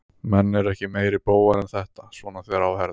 Menn eru ekki meiri bógar en þetta, svona þegar á herðir.